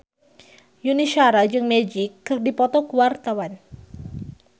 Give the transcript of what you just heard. Yuni Shara jeung Magic keur dipoto ku wartawan